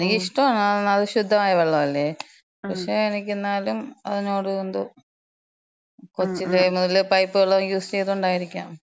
എനിക്കിഷ്ടാണ്. ന്നാണ് ആ ശുദ്ധമായ വെള്ളല്ലേ. പക്ഷേ, എനിക്ക് ന്നാലും അതിനോട് എന്തോ കൊച്ചിലേ മുതല് പൈപ്പ് വെള്ളം യൂസെയ്തോണ്ടായിരിക്കാം.